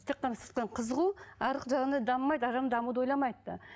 тек қана сырттан қызығу арғы жағында дамымайды арғы жағында дамуды ойламайды да